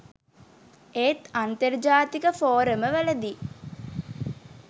ඒත් අන්තර්ජාතික ෆෝරම වලදී